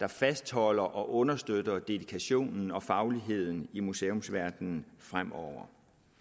der fastholder og understøtter dedikationen og fagligheden i museumsverdenen fremover